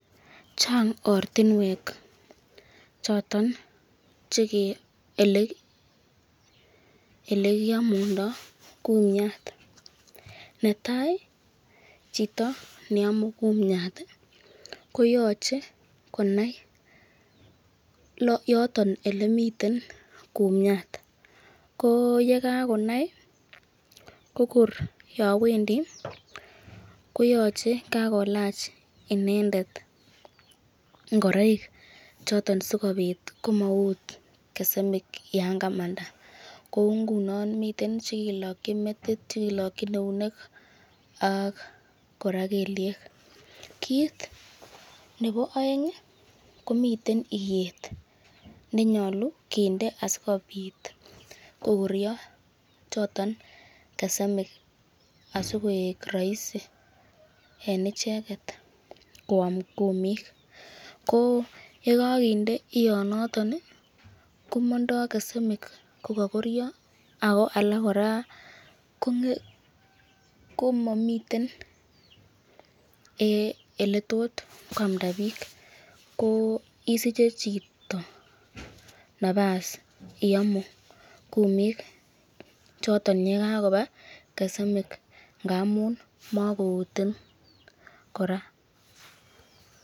Chang ortinwek Ole kiamundoi kumiat netai chito neamu kumiat ko koyoche konai yoton Ole miten kumiat ko ye kagonai ko kor yon wendi koyoche kakolach inendet ngoroik choton Sikobit komout sekemik yon kamanda kou ngunon miten Che kilokyini metit, Che kilokyini eunek ak kora kelyek kit nebo aeng komiten iyet ne nyolu kinde asikobit kogoryo choton sekemik asi koik roisi en icheget koam kumik ko ye kakinde ianoton komondoi sekemik kogokoryo ako kora ko momiten Ole tot koamda bik isiche chito nafas iyomu kumik choton ye kakoba sekemik ngamun mokoutin kora